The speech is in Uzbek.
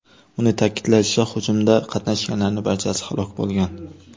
Uning ta’kidlashicha, hujumda qatnashganlarning barchasi halok bo‘lgan.